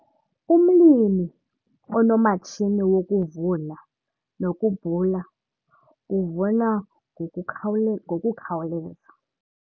Umlimi onomatshini wokuvuna nokubhula uvuna ngokukhawule ngokukhawuleza.